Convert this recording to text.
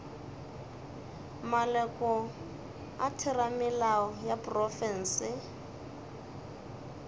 maloko a theramelao ya profense